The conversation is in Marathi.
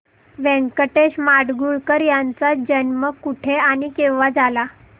व्यंकटेश माडगूळकर यांचा जन्म कुठे आणि केव्हा झाला